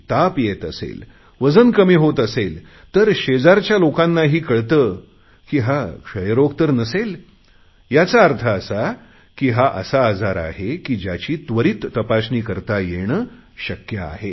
ताप येत असेल वजन कमी होत असेल तर शेजारच्या लोकांनाही कळते की हा क्षयरोग तर नसेल याचा अर्थ असा की हा असा आजार आहे ज्याची त्वरीत तपासणी करता येणे शक्य आहे